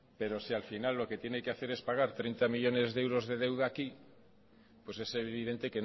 pero si al final lo que tiene que hacer es pagar treinta millónes de euros de deuda aquí pues es evidente